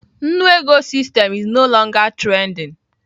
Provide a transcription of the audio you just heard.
Nnu ego system is no longer trending.